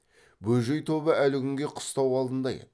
бөжей тобы әлі күнге қыстау алдында еді